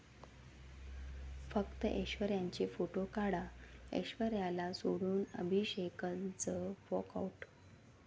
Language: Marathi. फक्त ऐश्वर्याचे फोटो काढा', ऐश्वर्याला सोडून अभिषेकचं 'वॉकआऊट'